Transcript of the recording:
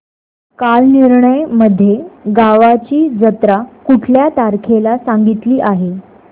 कालनिर्णय मध्ये गावाची जत्रा कुठल्या तारखेला सांगितली आहे